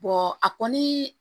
a kɔni